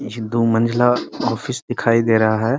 ये दो मंजिला ऑफिस दिखाई दे रहा है।